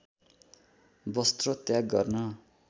वस्त्र त्याग गर्न